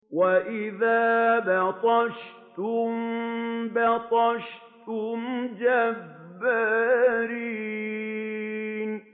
وَإِذَا بَطَشْتُم بَطَشْتُمْ جَبَّارِينَ